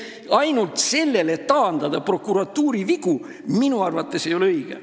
Ainult sellele prokuratuuri vigu taandada ei ole minu arvates õige.